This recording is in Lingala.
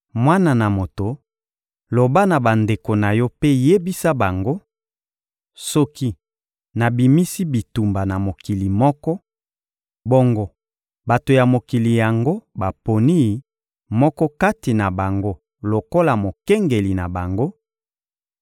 «Mwana na moto, loba na bandeko na yo mpe yebisa bango: ‹Soki nabimisi bitumba na mokili moko, bongo bato ya mokili yango baponi moko kati na bango lokola mokengeli na bango;